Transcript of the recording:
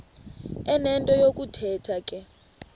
enento yokuthetha ke